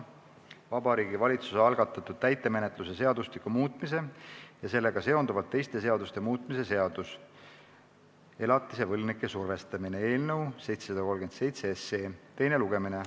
Vabariigi Valitsuse algatatud täitemenetluse seadustiku muutmise ja sellega seonduvalt teiste seaduste muutmise seaduse eelnõu 737 teine lugemine.